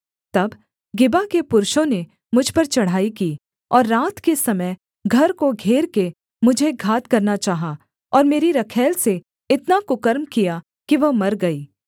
तब गिबा के पुरुषों ने मुझ पर चढ़ाई की और रात के समय घर को घेर के मुझे घात करना चाहा और मेरी रखैल से इतना कुकर्म किया कि वह मर गई